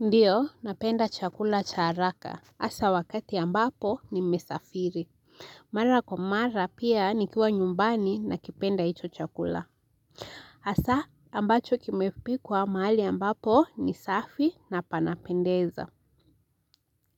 Ndiyo napenda chakula cha haraka hasa wakati ambapo nimesafiri Mara kwa mara pia nikiwa nyumbani nakipenda hicho chakula hasa ambacho kimepikwa mahali ambapo ni safi na panapendeza